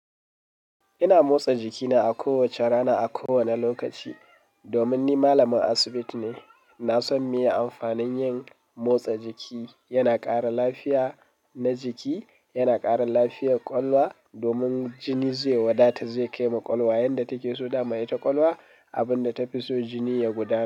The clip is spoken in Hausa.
Ina motsa jikina a kowace rana a kowani lokaci domin ni malamin asibiti ne. Na san me amfanin yin motsa jiki, yana ƙara lafiya na jiki, yana ƙara lafiyar ƙwakwaluwa domin jini zai wadata zai kai ma ƙwakwaluwa yadda take so dama ita ƙwakwaluwa abin da ta fi so jini ya gudanar.